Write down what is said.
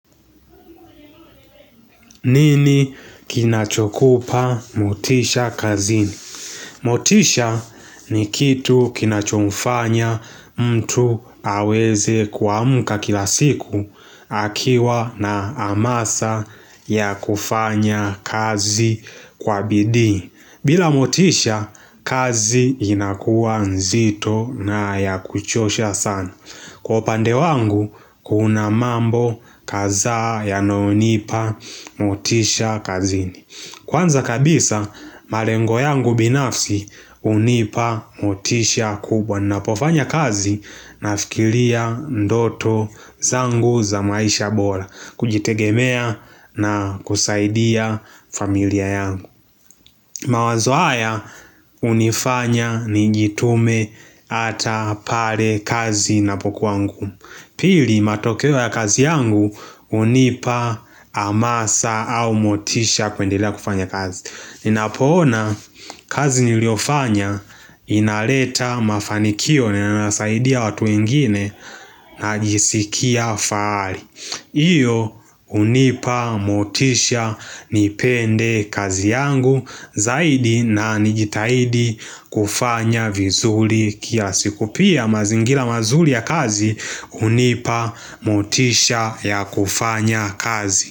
Nini kinachokupa motisha kazini? Motisha ni kitu kinachomfanya mtu aweze kuamka kila siku akiwa na hamasa ya kufanya kazi kwa bidii. Bila motisha, kazi inakuwa nzito na ya kuchosha sana. Kwa upande wangu kuna mambo kadha yanayonipa motisha kazini. Kwanza kabisa malengo yangu binafsi hunipa motisha kubwa. Ninapofanya kazi nafikiria ndoto zangu za maisha bora. Kujitegemea na kusaidia familia yangu mawazo haya hunifanya nijitume hata pale kazi inapokuwa ngumu Pili, matokeo ya kazi yangu hunipa hamasa au motisha kuendelea kufanya kazi. Ninapoona kazi niliyofanya inaleta mafanikio na inasaidia watu wengine najisikia fahari. Hiyo hunipa motisha nipende kazi yangu zaidi na nijitahidi kufanya vizuri kiasi. Pia mazingira mazuri ya kazi hunipa motisha ya kufanya kazi.